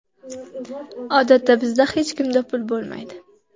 Odatda bizda hech kimda pul bo‘lmaydi.